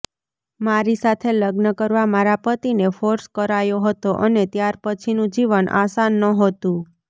મારી સાથે લગ્ન કરવા મારા પતિને ફોર્સ કરાયો હતો અને ત્યાર પછીનું જીવન આસન નહોતું